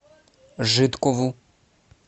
жидкову